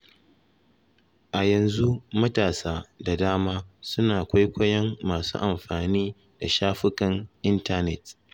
A yanzu matasa da dama suna kwaikwayon masu amfani da shafukan intanet.